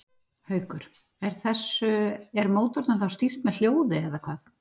Haukur: Er þessu, er mótornum þá stýrt með hljóði eða hvað?